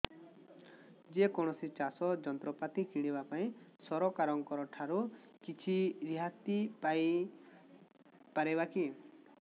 ଯେ କୌଣସି ଚାଷ ଯନ୍ତ୍ରପାତି କିଣିବା ପାଇଁ ସରକାରଙ୍କ ଠାରୁ କିଛି ରିହାତି ପାଇ ପାରିବା କି